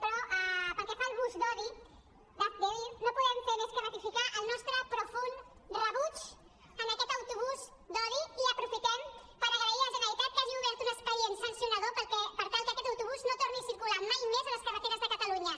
però pel que fa al bus d’odi d’hazte oír no podem fer més que ratificar el nostre profund rebuig a aquest autobús d’odi i aprofitem per agrair a la generalitat que hagi obert un expedient sancionador per tal que aquest autobús no torni a circular mai més a les carreteres de catalunya